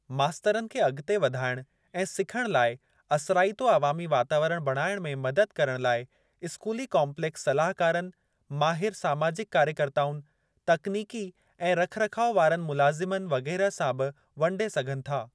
मास्तरनि खे अॻिते वधाइण ऐं सिखण लाइ असराइतो अवामी वातावरण बणाइण में मदद करण लाइ स्कूली काम्पलेक्स सलाहकारनि, माहिर समाजिक कार्यकर्ताउनि, तकनीकी ऐं रख रखाव वारनि मुलाज़िमनि वगैरह सां बि वंडे सघनि था।